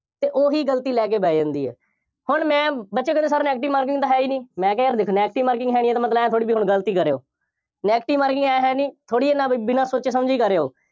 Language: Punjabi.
ਅਤੇ ਉਹੀ ਗਲਤੀ ਲੈ ਕੇ ਬਹਿ ਜਾਂਦੀ ਹੈ। ਹੁਣ ਮੈਂ, ਬੱਚੇ ਕਹਿੰਦੇ sir negative marking ਤਾਂ ਹੈ ਹੀ ਨਹੀਂ। ਮੈਂ ਕਿਹਾ ਦੇਖੋ negative marking ਹੈ ਨਹੀਂ ਤਾਂ ਇਹਦਾ ਮਤਲਬ ਇਹ ਥੋੜ੍ਹੀ ਹੁਣ ਗਲਤ ਹੀ ਕਰ ਆਉ। negative marking ਆਏਂ, ਹੈ ਨਹੀਂ, ਥੋੜ੍ਹੀ ਇਹ ਨਾ ਬਿਨਾ ਸੋਚੇ ਸਮਝੇ ਹੀ ਕਰ ਆਉ।